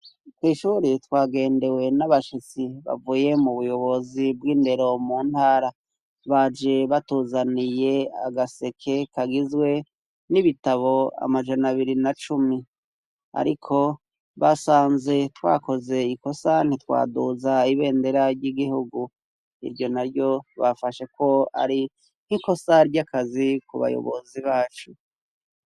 Kw' ishuri twagendewe n'abashitsi bavuye mu buyobozi bw'indero mu ntara. Baje batuzaniye agaseke kagizwe n'ibitabo amajana biri na cumi ariko basanze twakoze ikosa ntitwaduza ibendera ry'igihugu. Iryo na ryo bafashe ko ari nk'ikosa ry'akazi ku bayobozi bacu.